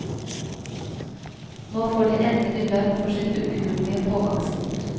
Nå får de endelig lønn for sitt ukuelige pågangsmot.